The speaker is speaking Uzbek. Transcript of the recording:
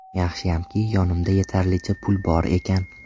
Yaxshiyamki, yonimda yetarlicha pul bor ekan.